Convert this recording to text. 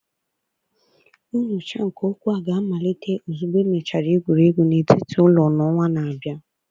Nyocha nke okwu a ga-amalite ozugbo emechara egwuregwu n'etiti ụlọ n'ọnwa na-abịa.